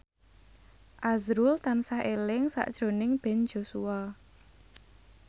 azrul tansah eling sakjroning Ben Joshua